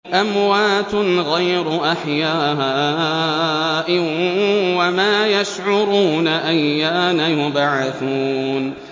أَمْوَاتٌ غَيْرُ أَحْيَاءٍ ۖ وَمَا يَشْعُرُونَ أَيَّانَ يُبْعَثُونَ